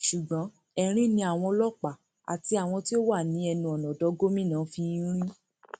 ṣùgbọn erin ni àwọn ọlọpàá àti àwọn tí wọn wà ní ẹnu ọnà odò gómìnà ń fi í rín